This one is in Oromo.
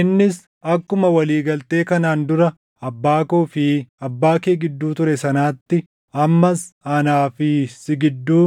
Innis, “Akkuma walii galtee kanaan dura abbaa koo fi abbaa kee gidduu ture sanaatti ammas anaa fi si gidduu